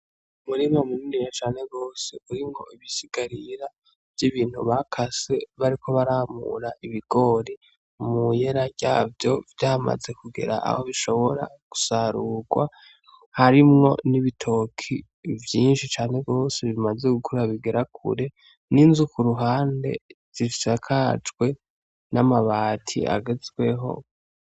Umurima munininya cane gose uriko ibisigarira vy'ibintu bakase bariko baramura ibigori mu yera vyavyo vyamaze kugera aho bishobora gusarurwa harimwo n'ibitoki vyinshi cane gose bimaze gukura bigera kure, n'inzu zisakajwe n'amabati agezweho.